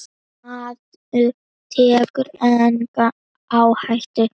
Maður tekur enga áhættu!